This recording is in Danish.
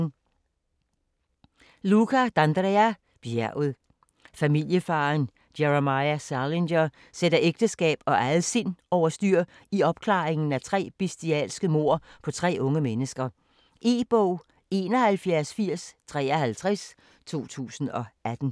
D'Andrea, Luca: Bjerget Familiefaderen Jeremiah Salinger sætter ægteskab og eget sind over styr, i opklaringen af tre bestialske mord på tre unge mennesker. E-bog 718053 2018.